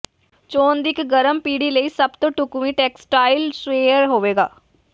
ਚੋਣ ਦੀ ਇੱਕ ਗਰਮ ਪੀੜ੍ਹੀ ਲਈ ਸਭ ਤੋਂ ਢੁਕਵੀਂ ਟੈਕਸਟਾਈਲ ਸੂਏਅਰ ਹੋਵੇਗਾ